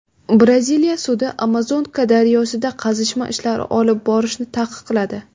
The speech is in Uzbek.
Braziliya sudi Amazonka daryosida qazishma ishlari olib borishni taqiqladi.